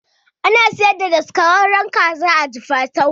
Ana siyar da daskararren kaza a jifatu